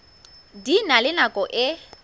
di na le nako e